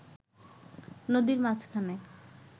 নদীর মাঝখানে